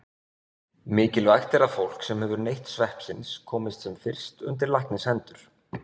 Mikilvægt er að fólk sem hefur neytt sveppsins komist sem fyrst undir læknishendur.